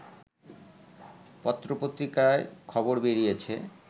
পত্রপত্রিকায় খবর বেরিয়েছে